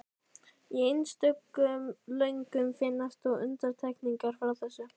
Í einstökum lögum finnast þó undantekningar frá þessu.